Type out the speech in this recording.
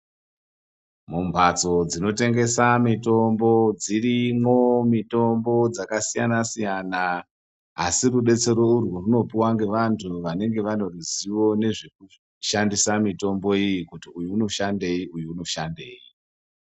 Mumphatso dzinotengesa mitombo ,dzirimwo mitombo dzakasiyana-siyana, asi rudetsero urwu rwunopuwa ngevantu vanenge vane ruzivo nezvekushandisa mitombo iyi ,kuti uyu unoshandei uyu unoshandei.